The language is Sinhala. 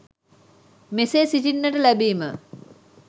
මෙසේ සිටින්නට ලැබීම